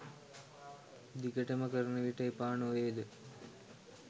දිගටම කරන විට එපා නොවේද